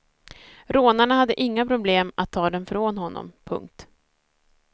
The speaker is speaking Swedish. Rånarna hade inga problem att ta den från honom. punkt